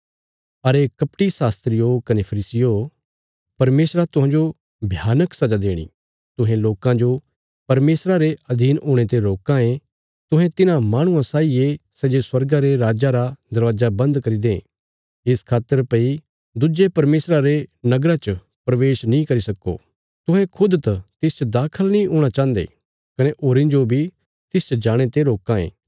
अरे कपटी शास्त्रियो कने फरीसियो परमेशरा तुहांजो भयानक सजा देणी तुहें लोकां जो परमेशरा रे अधीन हुणे ते रोकां ये तुहें तिन्हां माह्णुआं साई ये सै जे स्वर्गा रे राज्जा रा दरवाजा बन्द करी दें इस खातर भई दुज्जे परमेशरा रे नगरा च प्रवेश नीं करी सक्को तुहें खुद त तिसच दाखल नीं हूणा चाहन्दे कने होरीं जो बी तिसच जाणे ते रोकां ये